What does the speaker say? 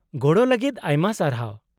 -ᱜᱚᱲᱚ ᱞᱟᱹᱜᱤᱫ ᱟᱭᱢᱟ ᱥᱟᱨᱦᱟᱣ ᱾